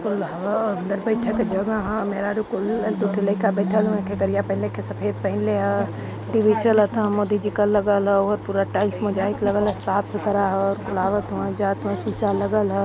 अंदर बईठे के जगह ह मेहरारू कुल एक दु ठे लइका बईठल हवे खेकहरिया पहीनले खे सफेद पहीनले ह टीवी चलत ह मोदी जी का लगल ह ओहर पूरा टाइल्स लगल ह साफ सुथरा ह कुल आवत हवे जावत हवे शीशा लागल ह।